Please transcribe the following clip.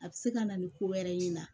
A bɛ se ka na ni ko wɛrɛ y'i na